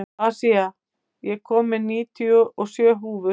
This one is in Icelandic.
Asía, ég kom með níutíu og sjö húfur!